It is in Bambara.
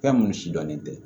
Fɛn minnu si dɔnnen tɛ